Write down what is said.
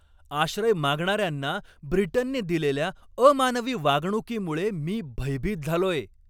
आश्रय मागणाऱ्यांना ब्रिटनने दिलेल्या अमानवी वागणुकीमुळे मी भयभीत झालोय.